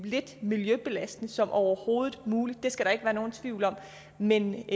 lidt miljøbelastende som overhovedet muligt det skal der ikke være nogen tvivl om men